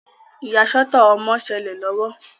Iyasọtọ ọmọ nṣele lọwọ.